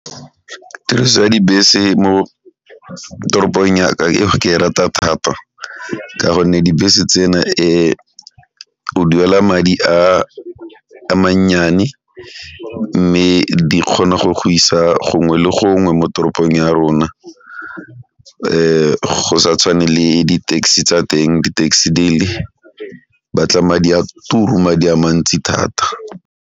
Tiriso ya dibese mo toropong ya ka ke e rata thata ka gonne dibese tsena o duela madi a mannyane mme di kgona go go isa gongwe le gongwe mo toropong ya rona go sa tshwane le di taxi tsa teng di taxi di batla madi a turu, madi a mantsi thata.